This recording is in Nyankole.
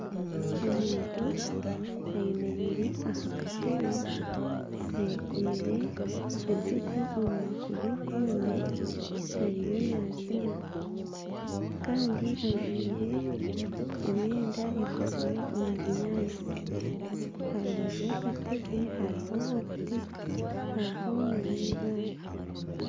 Omumtu ayemereire aha katebe ayekomire eijuugo omu maguru gombi ariyo naziina kandi ajwaire emyenda ekozirwe omu binyaatsi aha rubaju rw'akatebe hariho obuti hariho na n’eibaare.